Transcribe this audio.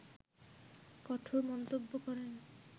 কঠোর মন্তব্য করেন